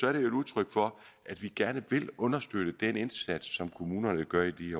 er det jo et udtryk for at vi gerne vil understøtte den indsats som kommunerne gør i